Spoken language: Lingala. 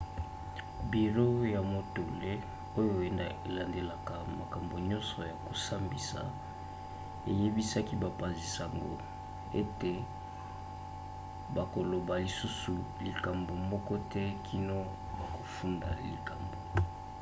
biro ya motole oyo elandelaka makambo nyonso ya kosambisa eyebisaki bapanzi-sango ete bakoloba lisusu likambo moko te kino bakofunda likambo